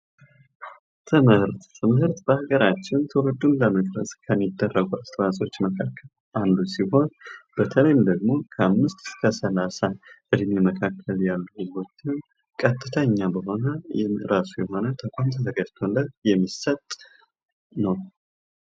ትምህርት፤ ምህርት በሃገራችን ተውልዱን ለመቅረጽ ከሚደረጉ አስተዋጽኦዎች መካከል አንዱ ሲሆን በተለይ በደሞ ከአምስት እስከ 30 እድሜ መካከል ያለው ህዝቦችን ቀጥተኛ በሆነ ወይም እራሱ የሆነ ተቋም ተዘጋጅቶ የሚሰጥ ነው።